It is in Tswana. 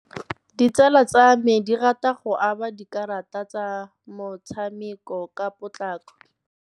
Ditsala tsa me dirata go aba dikarata tsa mothsamekô ka potlakô.